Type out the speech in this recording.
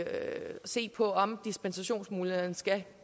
se på om dispensationsmuligheden skal